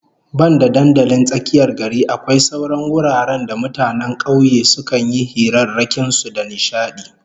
Banda dandalin tsakiyar gari, akwai sauran wuraren da mutanen kauye sukan yi hirarrakin su da nishadi